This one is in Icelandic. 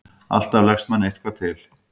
Alltaf leggst manni eitthvað til.